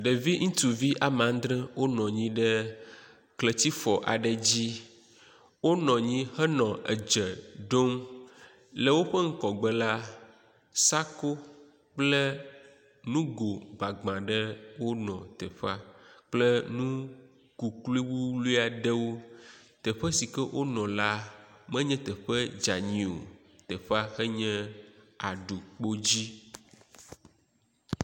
Ɖevi ŋtsu ame adre wonɔ anyi ɖe kletifɔ aɖe ddzi. Wonɔ anyi henɔ edze ɖom. Le woƒe ŋgɔgbe la sako kple nugo gbagba aɖe wonɔ teƒea kple nu kuklui wuwlui aɖewo. Teƒe si ke wonɔ la menye teƒe dzeani o teƒe enye aɖukpo dzi.